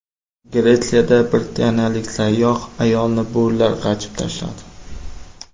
Gretsiyada britaniyalik sayyoh ayolni bo‘rilar g‘ajib tashladi.